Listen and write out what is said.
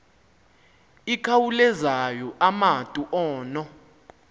ikhawulezayo umatu ono